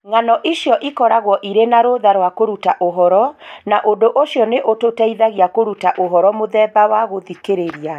Ng'ano icio ikoragwo irĩ na rũtha rwa kũruta ũhoro, na ũndũ ũcio nĩ ũtũteithagia kũruta ũhoro mũthemba wa gũthikĩrĩria.